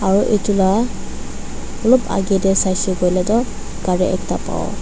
aro itula olop agey tey saishe kuile toh gari ekta pawo.